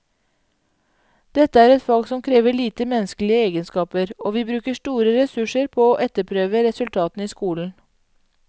Dette er et fag som krever lite menneskelige egenskaper, og vi bruker store ressurser på å etterprøve resultatene i skolen.